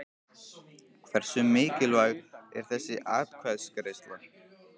Hversu mikilvæg er þessi atkvæðagreiðsla?